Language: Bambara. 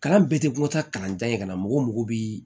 Kalan bɛɛ tɛ ko taa kalan jan ye ka na mɔgɔ mɔgɔ bi